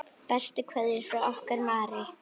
Bestu kveðjur frá okkur Marie.